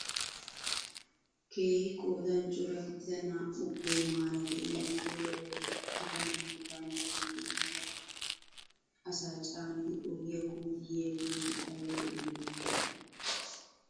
Keehi qoodan cora gidida naa"u goomara de'iyaa motoriyaa bolli uttida naati bantta guyen hara asa caanidi ogiyaa kumidi yiyaageti ayba lo"iyoona!